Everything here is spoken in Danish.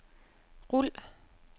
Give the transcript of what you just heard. rul